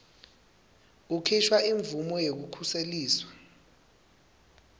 kukhishwa imvumo yekukhuseliswa